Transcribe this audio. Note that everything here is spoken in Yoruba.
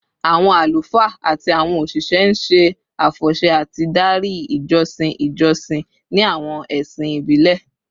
Awọn alufaa ati awọn oṣiṣẹ n ṣe afọṣẹ ati dari ijọsin ijọsin ni awọn ẹsin ibile